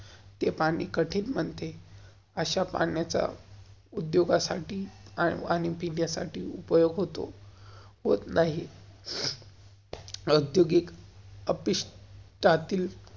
ते पाणी कठिन बनते, अश्या पाण्याचा उद्योगासाठी आणि पिण्यासाठी उपयोग होतो~हॉट नाही. उद्योगिक त्यातील